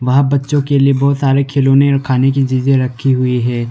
वहां बच्चों के लिए बहुत सारे खिलौने और खाने की चीजें रखी हुई है।